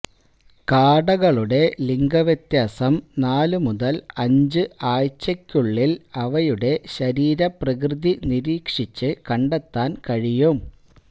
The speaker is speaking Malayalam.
കാടകളുടെ ലിംഗവ്യത്യാസം നാലു മുതല് അഞ്ച് ആഴ്ചകള്ക്കുളളില് അവയുടെ ശരീരപ്രകൃതി നിരീക്ഷിച്ച് കണ്ടെത്താന് കഴിയും